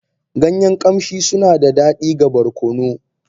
Ganyen ƙamshi suna da daɗi ga barkono.